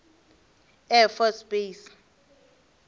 air force base